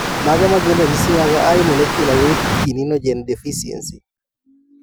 Mage magin ranyisi mag High molecular weight kininogen deficiency?